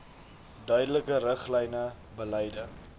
duidelike riglyne beleide